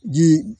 Ji